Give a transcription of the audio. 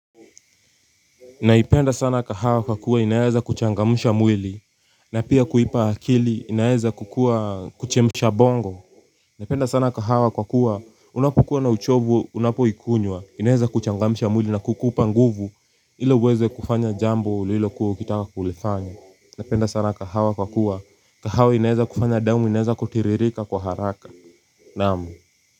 Naipenda sana kahawa kwa kuwa inaeza kuchangamsha mwili na pia kuipa akili inaeza kuchemsha bongo. Napenda sana kahawa kwa kuwa unapukua na uchovu unapoikunywa inaeza kuchangamsha mwili na kukupa nguvu ili uweze kufanya jambo ulilo kuwa ukitaka kulifanya. Napenda sana kahawa kwa kuwa kahawa inaeza kufanya damu inaeza kutiririka kwa haraka naam.